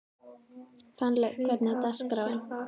Fannlaug, hvernig er dagskráin?